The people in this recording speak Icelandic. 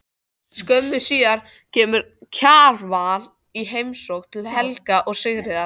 Skömmu síðar kemur Kjarval í heimsókn til Helga og Sigríðar.